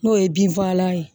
N'o ye bin fagalan ye